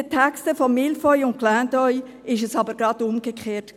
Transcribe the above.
In den Texten von «Mille feuilles» und «Clin d’œil» war es aber gerade umgekehrt.